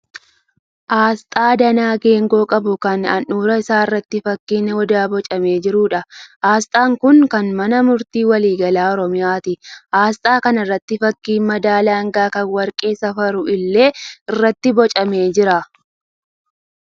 Asxaa danaa geengoo qabu kan handhuura isaa irratti fakkiin odaa boocamee jiruudha. Asxaan kun kan Mana Murtii Waliigalaa Oromiyaati. Asxaa kana irra fakkiin madaala hangaa kan warqee safaru illee irratti boocamee jira.